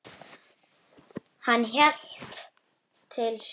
Hann hélt til suðurs.